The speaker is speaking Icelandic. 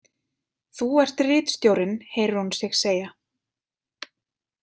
Þú ert ritstjórinn, heyrir hún sig segja.